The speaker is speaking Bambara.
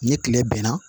Ni tile bɛnna